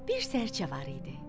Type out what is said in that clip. Bir sərcə var idi.